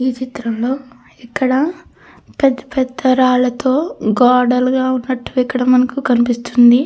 ఈ చిత్రంలో ఇక్కడ పెద్ద పెద్ద రాళ్లతో గొడలుగా ఉన్నట్టు ఇక్కడ మనకు కనిపిస్తుంది.